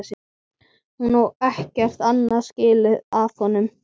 Hún á ekkert annað skilið af honum.